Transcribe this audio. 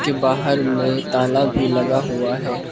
बाहर में ताला भी लगा हुआ है।